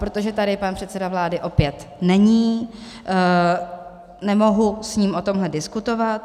Protože tady pan předseda vlády opět není, nemohu s ním o tomhle diskutovat.